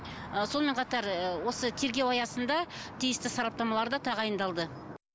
ы сонымен қатар ыыы осы тергеу аясында тиісті сараптамалар да тағайындалды